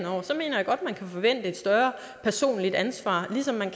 vi kan forvente et større personligt ansvar ligesom man